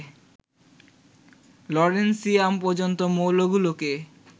lawrencium পর্যন্ত মৌলগুলোকে